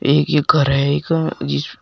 एक ही घर है जिस--